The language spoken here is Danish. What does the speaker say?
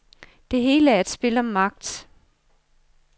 Det hele er et spil om magt.